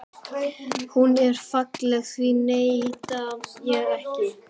Hún er falleg, því neita ég ekki.